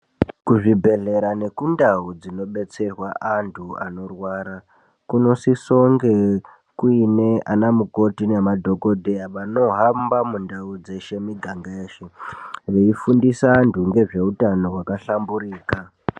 Ku zvibhedhlera neku ndau dzino betserwa antu anorwara kuno sisonge kuine ana mukoti ne madhokodheya vanohamba mu ndau dzeshe miganga yeshe vei fundisa antu ngezve utano hwaka hlamburika.